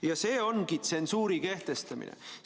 Ja see ongi tsensuuri kehtestamine.